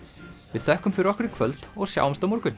við þökkum fyrir okkur í kvöld og sjáumst á morgun